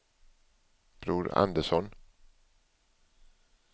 Bror Andersson